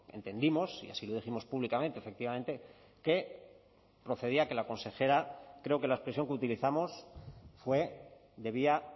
entendimos y así lo dijimos públicamente efectivamente que procedía que la consejera creo que la expresión que utilizamos fue debía